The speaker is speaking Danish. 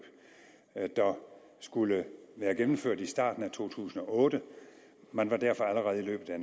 der skulle være gennemført i starten af to tusind og otte man var derfor allerede i løbet af